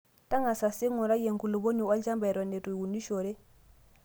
Tangasa sii ingurai enkulupuoni olchamba Eton itu unishore